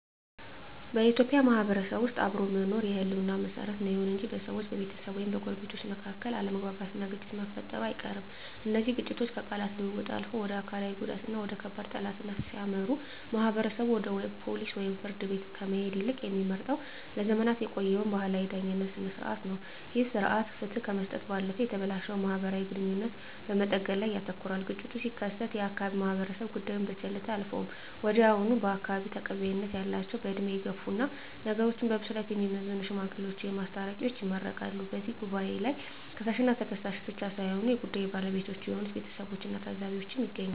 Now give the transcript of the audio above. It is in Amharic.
በኢትዮጵያ ማህበረሰብ ውስጥ አብሮ መኖር የህልውና መሰረት ነው። ይሁን እንጂ በሰዎች፣ በቤተሰብ ወይም በጎረቤቶች መካከል አለመግባባትና ግጭት መፈጠሩ አይቀርም። እነዚህ ግጭቶች ከቃላት ልውውጥ አልፈው ወደ አካላዊ ጉዳትና ወደ ከባድ ጠላትነት ሲያመሩ፣ ማህበረሰቡ ወደ ፖሊስ ወይም ፍርድ ቤት ከመሄድ ይልቅ የሚመርጠው ለዘመናት የቆየውን ባህላዊ የዳኝነት ሥርዓት ነው። ይህ ሥርዓት ፍትህ ከመስጠት ባለፈ የተበላሸውን ማህበራዊ ግንኙነት በመጠገን ላይ ያተኩራል። ግጭቱ ሲከሰት የአካባቢው ማህበረሰብ ጉዳዩን በቸልታ አያልፈውም። ወዲያውኑ በአካባቢው ተቀባይነት ያላቸው፣ በዕድሜ የገፉና ነገሮችን በብስለት የሚመዝኑ "ሽማግሌዎች" ወይም "አስታራቂዎች" ይመረጣሉ። በዚህ ጉባኤ ላይ ከሳሽና ተከሳሽ ብቻ ሳይሆኑ የጉዳዩ ባለቤቶች የሆኑት ቤተሰቦችና ታዘቢዎችም ይገኛሉ።